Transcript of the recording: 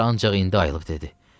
Bahar ancaq indi ayılıb dedi.